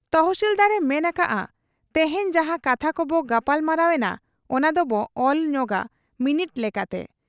ᱛᱚᱦᱥᱤᱞᱫᱟᱨ ᱮ ᱢᱮᱱ ᱟᱠᱟᱜ ᱟ, 'ᱛᱮᱦᱮᱧ ᱡᱟᱦᱟᱸ ᱠᱟᱛᱷᱟ ᱠᱚᱵᱚ ᱜᱟᱯᱟᱞᱢᱟᱨᱟᱣ ᱮᱱᱟ ᱚᱱᱟ ᱫᱚᱵᱚ ᱚᱞ ᱧᱚᱜᱟ ᱢᱤᱱᱤᱴ ᱞᱮᱠᱟᱛᱮ ᱾